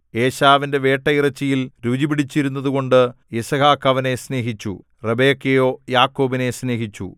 ഏശാവിന്റെ വേട്ടയിറച്ചിയിൽ രുചി പിടിച്ചിരുന്നതുകൊണ്ട് യിസ്ഹാക്ക് അവനെ സ്നേഹിച്ചു റിബെക്കയോ യാക്കോബിനെ സ്നേഹിച്ചു